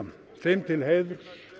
þeim til heiðurs